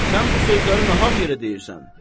Sən bu sözləri nahaq yerə deyirsən.